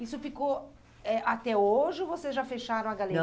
Isso ficou, eh, até hoje ou vocês já fecharam a